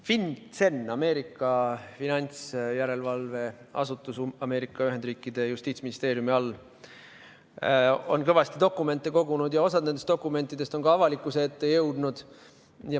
FinCEN, Ameerika finantsjärelevalveasutus Ameerika Ühendriikide justiitsministeeriumi all, on kõvasti dokumente kogunud ja osa nendest dokumentidest on avalikkuse ette jõudnud.